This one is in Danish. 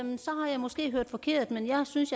måske hørt forkert men jeg synes